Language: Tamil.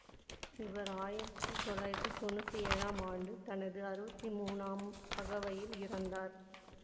இவர் ஆயிரத்தி தொள்ளாயிரத்தி தொன்னூற்தி ஏழாம் ஆண்டு தனது அறுபத்தி மூணாம் அகவையில் இறந்தார்